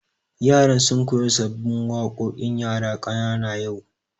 Yaran sun koya sabbin waƙoƙin yara ƙanana yau